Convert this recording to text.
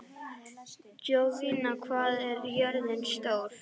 Jovina, hvað er jörðin stór?